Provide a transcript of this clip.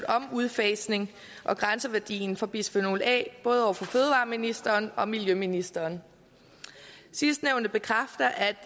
om en udfasning af og grænseværdien for bisfenol a både over for fødevareministeren og miljøministeren sidstnævnte bekræfter at